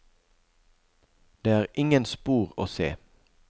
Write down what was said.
Det er ingen spor å se.